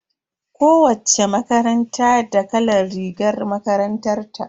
Kowacce makaranta da kalan rigar makarantar ta.